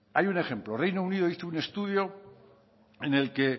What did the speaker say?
hay un ejemplo reino unido hizo un estudio en el que